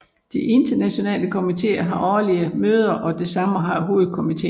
De internationale komiteer har årlige møder og det samme har hovedkomiteen